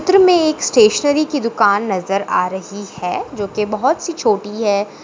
इस चित्र मे एक स्टेशनरी की दुकान नज़र आ रही है जो की बहुत सी छोटी है।